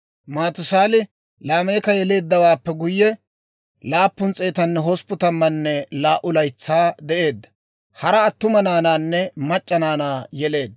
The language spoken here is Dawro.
Maatusaali Laameeka yeleeddawaappe guyye, 782 laytsaa de'eedda; hara attuma naanaanne mac'c'a naanaa yeleedda.